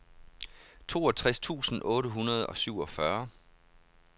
toogtres tusind otte hundrede og syvogfyrre